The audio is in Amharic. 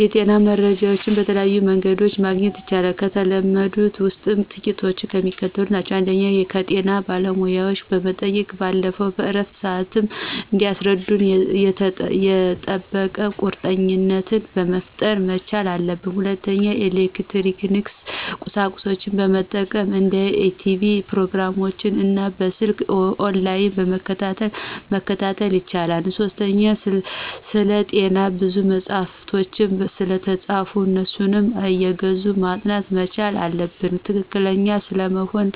የጤና መረጃዎችን በተለያዩ መንገዶችመግኘት ይቻላል። ከተለመዱት ውስጥ ጥቂቶቹ የሚከተሉት ናቸው። ፩) ከጤና ባለሙያዎች ከመጠየቅ ባለፈ በእረፍታቸው ስዓት እንዲያስረዱን የጠበቀ ቁርኝትነት መፍጠር መቻል አለብን። ፪) የኤሌክትሮኒክስ ቁሳቁሶችን መጠቀም እንደ ቲቭ ፕሮግራሞችን እና በሰልክ በኦንላይን መከታተል መቻል። ፫) ስለጤና ብዙ መጸሐፎች ስለተፃፉ አነሱን አየገዙ ማጥናት መቻል አለብን። ትክክለኛ ስለመሆኑ